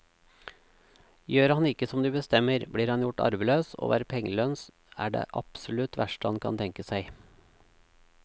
Gjør han ikke som de bestemmer, blir han gjort arveløs, og å være pengelens er det absolutt verste han kan tenke seg.